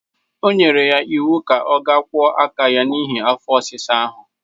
O nyere ya iwu ka ọ ga kwọ aka ya n'ihi afọ ọsịsa ahụ.